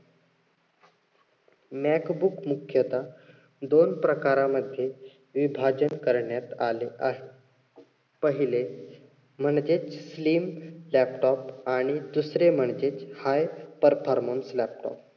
mac book मुख्यतः दोन प्रकारामध्ये विभाजन करण्यात आले आहे. पहिले म्हणजे slim laptop आणि दुसरे म्हणजे performance laptop